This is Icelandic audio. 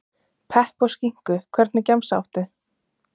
Pepp og skinku Hvernig gemsa áttu?